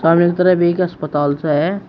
सामने की तरफ एक अस्पताल सा है।